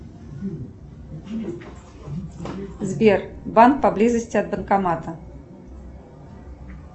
сбер банк поблизости от банкомата